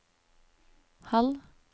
halv